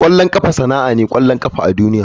Kwallon kafa sanannen ƙwallon ƙafa ne a duniya.